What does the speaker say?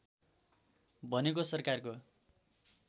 भनेको सरकारको